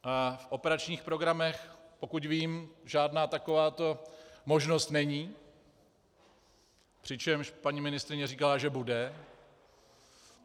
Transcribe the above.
V operačních programech, pokud vím, žádná takováto možnost není, přičemž paní ministryně říkala, že bude.